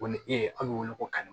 O ni e bɛ wele ko kari